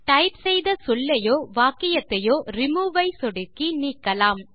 type செய்த சொல்லையோ வாக்கியத்தையோ ரிமூவ் ஐ சொடுக்கி நீக்கலாம்